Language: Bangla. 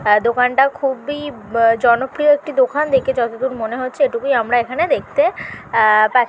হ্যা দোকানটা খুব-ই অ্য জনপ্রিয় একটি দোকান দেখে যতদূর মনে হচ্ছে এটুকুই আমরা এখানে দেখতে আহ পাচ্ছি।